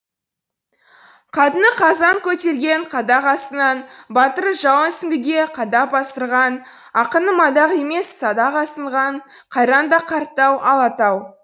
қатыны қазан көтерген қадақ асынан батыры жауын сүңгіге қадап асырған ақыны мадақ емес садақ асынған қайран да қарт тау алатау